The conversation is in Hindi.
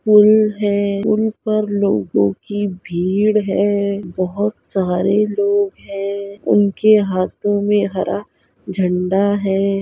पुल है पुल पर लोगो की भीड़ है बहुत सारे लोग है उनके हाथों में हरा झंडा है।